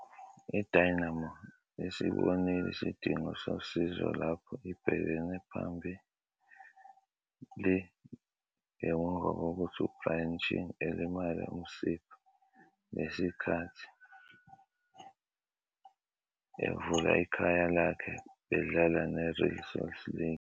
IDynamo isibonile isidingo sosizo lapho ibheke phambili ngemuva kokuthi uBrian Ching elimale umsipha ngesikhathi evula ikhaya lakhe bedlala neReal Salt Lake.